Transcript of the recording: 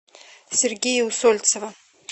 сергея усольцева